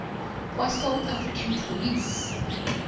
kwasouth african police